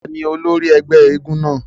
Tani ólòri ẹ́gbẹ èègún náa?